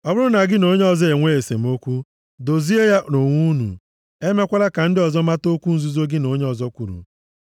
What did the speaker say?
Ọ bụrụ na gị na onye ọzọ enwee esemokwu, dozienụ ya nʼonwe unu, emekwala ka ndị ọzọ mata okwu nzuzo gị na onye ọzọ kwuru,